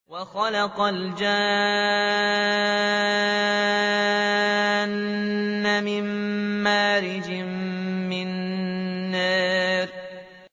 وَخَلَقَ الْجَانَّ مِن مَّارِجٍ مِّن نَّارٍ